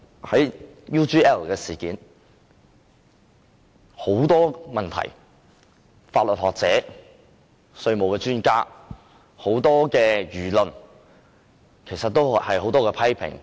在 UGL 事件上，法律學者、稅務專家及市民大眾都作出很多批評。